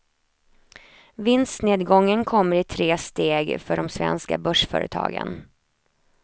Vinstnedgången kommer i tre steg för de svenska börsföretagen.